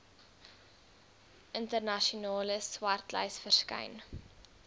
internasionale swartlys verskyn